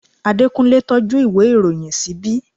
Adekunle tọ́jú ìwé ìròyìn ṣíbí